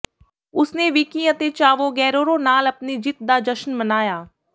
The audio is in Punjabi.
ਉਸਨੇ ਵਿਕੀ ਅਤੇ ਚਾਵੋ ਗੇਰੇਰੋ ਨਾਲ ਆਪਣੀ ਜਿੱਤ ਦਾ ਜਸ਼ਨ ਮਨਾਇਆ